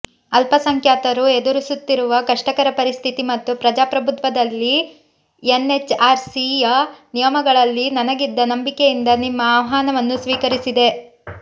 ಅಲ್ಪಸಂಖ್ಯಾತರು ಎದುರಿಸುತ್ತಿರುವ ಕಷ್ಟಕರ ಪರಿಸ್ಥಿತಿ ಮತ್ತು ಪ್ರಜಾಪ್ರಭುತ್ವದಲ್ಲಿ ಎನ್ಎಚ್ಆರ್ಸಿಯ ನಿಯಮಗಳಲ್ಲಿ ನನಗಿದ್ದ ನಂಬಿಕೆಯಿಂದ ನಿಮ್ಮ ಆಹ್ವಾನವನ್ನು ಸ್ವೀಕರಿಸಿದ್ದೆ